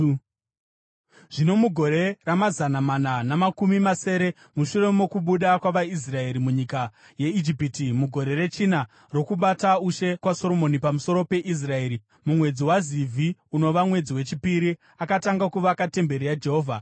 Zvino mugore ramazana mana namakumi masere mushure mokubuda kwavaIsraeri munyika yeIjipiti, mugore rechina rokubata ushe kwaSoromoni pamusoro peIsraeri, mumwedzi waZivhi, unova mwedzi wechipiri, akatanga kuvaka temberi yaJehovha.